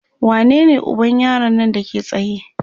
wanene uban yaron Nan Dake tsaye?